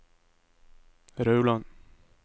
Rauland